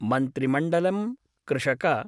मन्त्रिमण्डलं कृषक